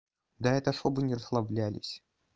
да это чтобы не расслаблялись